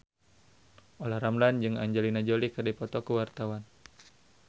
Olla Ramlan jeung Angelina Jolie keur dipoto ku wartawan